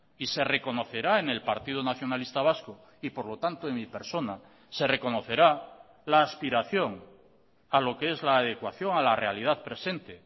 y se reconocerá en el partido nacionalista vasco y por lo tanto en mi persona se reconocerá la aspiración a lo que es la adecuación a la realidad presente